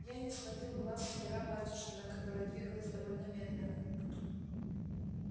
я не сводил глаз с пера батюшкина которое двигалось довольно медленно